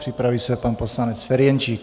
Připraví se pan poslanec Ferjenčík.